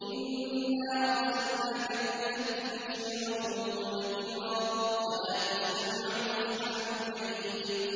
إِنَّا أَرْسَلْنَاكَ بِالْحَقِّ بَشِيرًا وَنَذِيرًا ۖ وَلَا تُسْأَلُ عَنْ أَصْحَابِ الْجَحِيمِ